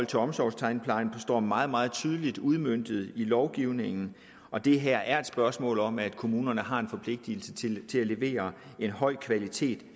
til omsorgstandplejen står meget meget tydeligt udmøntet i lovgivningen og det her er et spørgsmål om at kommunerne har en forpligtigelse til at levere en høj kvalitet